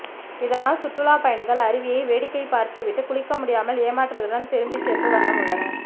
இதனால் சுற்றுலாப்பயணிகள் அருவியை வேடிக்கை பார்த்துவிட்டு குளிக்க முடியாமல் ஏமாற்றத்துடன் திரும்பி சென்ற வண்ணம் உள்ளனர்